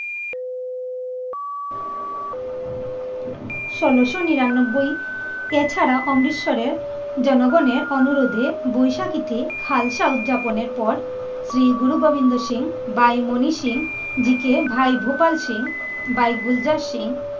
ষোলোশো নিরানব্বই এছাড়া অমৃতসরের জনগণের অনুরোধে বৈশাখীতে হালসা উদযাপনের পর শ্রী গুরু গোবিন্দ সিং, বাই মনি সিং জিকে, ভাই ভোপাল সিং, বাই গুলজার সিং,